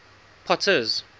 potter's